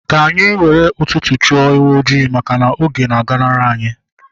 Ka anyị were ụtụtụ chụọ ewu ojii maka na oge na aganari anyi